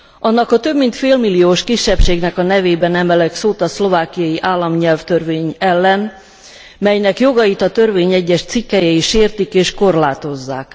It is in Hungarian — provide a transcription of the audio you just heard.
Annak a több mint félmilliós kisebbségnek a nevében emelek szót a szlovákiai államnyelvtörvény ellen, melynek jogait a törvény egyes cikkelyei sértik és korlátozzák.